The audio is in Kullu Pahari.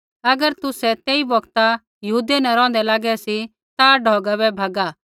अगर तुसै तेई बौगता यहूदिया न रौहंदै लागै सी ता ढौगा बै भैगा